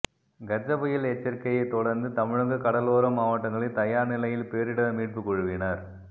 கஜ புயல் எச்சரிக்கையைத் தொடர்ந்து தமிழக கடலோர மாவட்டங்களில் தயார் நிலையில் பேரிடர் மீட்புக் குழுவினர்